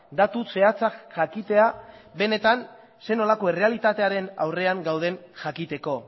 datu zehatzak jakitea benetan zelako errealitatearen aurrean gauden jakiteko